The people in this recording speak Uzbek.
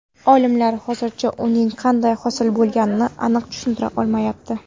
Olimlar hozircha uning qanday hosil bo‘lganini aniq tushuntira olmayapti.